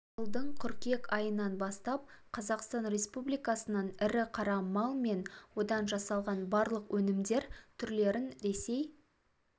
жылдың қыркүйек айынан бастап қазақстан республикасынан ірі қара мал мен одан жасалған барлық өнімдер түрлерін ресей